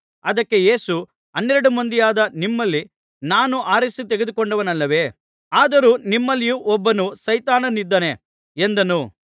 ಅದಕ್ಕೆ ಯೇಸು ಹನ್ನೆರಡು ಮಂದಿಯಾದ ನಿಮ್ಮನ್ನು ನಾನು ಆರಿಸಿ ತೆಗೆದುಕೊಂಡೆನಲ್ಲವೇ ಆದರೂ ನಿಮ್ಮಲ್ಲಿಯೂ ಒಬ್ಬನು ಸೈತಾನನಿದ್ದಾನೆ ಎಂದನು